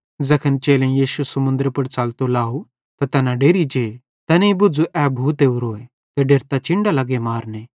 ज़ैखन चेलेईं यीशु समुन्दरे पुड़ च़लतो लाव त तैना डेरि जे तैनेईं बुझ़ू ए भूत ओरोए ते डेरतां चिन्डां लग्गे मारने